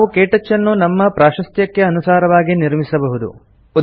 ನಾವು ಕೇಟಚ್ ಅನ್ನು ನಮ್ಮ ಪ್ರಾಶಸ್ತ್ಯಕ್ಕೆ ಅನುಸಾರವಾಗಿ ನಿರ್ಮಿಸಬಹುದು